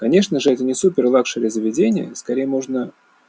конечно же это не супер лакшери заведение скорей можно